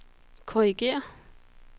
korrigér